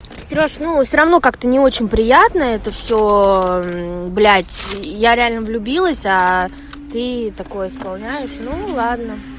серёжа ну все равно как-то не очень приятно это все блять я реально влюбилась а ты такое исполняешь ну ладно